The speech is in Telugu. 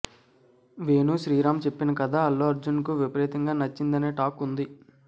వేణు శ్రీరామ్ చెప్పిన కథ అల్లు అర్జున్కు విపరీతంగా నచ్చిందనే టాక్ ఉంది